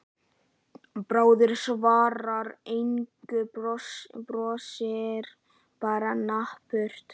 Bárður svarar engu, brosir bara napurt.